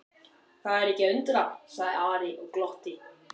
Það er ekki að undra, sagði Ari og glotti.